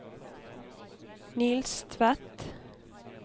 Niels Tvedt